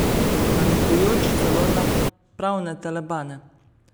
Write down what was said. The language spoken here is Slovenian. Namigujoč celo na pravne telebane.